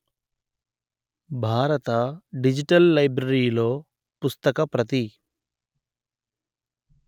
భారత డిజిటల్ లైబ్రరీలో పుస్తక ప్రతి